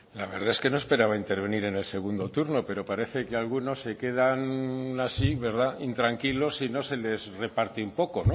la verdad es que no esperaba intervenir en el segundo turno pero parece que algunos se quedan así verdad intranquilos si no se les reparte un poco